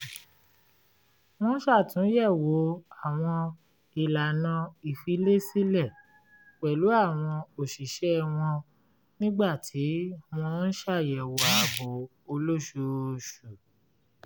wọ́n ṣàtúnyẹ̀wò àwọn ìlànà ìfilésílẹ̀ pẹ̀lú àwọn òṣìṣẹ́ wọn nígbà tí wọ́n ń ṣàyẹ̀wò ààbò olóṣooṣù